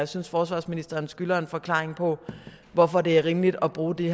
synes forsvarsministeren skylder en forklaring på hvorfor det er rimeligt at bruge de